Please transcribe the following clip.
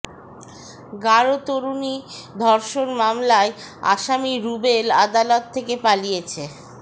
গারো তরুণী ধর্ষণ মামলার আসামি রুবেল আদালত থেকে পালিয়েছে